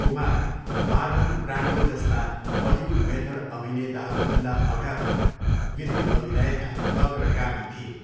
Kumar Marlon Brando जस्ता Hollywood method अभिनेताहरूभन्दा अगावै विधि अभिनयको अग्रगामी थिए।